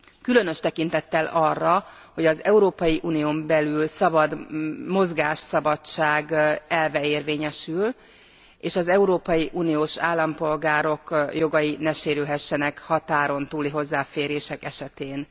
Különös tekintettel arra, hogy az Európai Unión belül a szabad mozgásszabadság elve érvényesül, és az európai uniós állampolgárok jogai ne sérülhessenek határon túli hozzáférések esetén.